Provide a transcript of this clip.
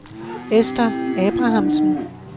Esther Abrahamsen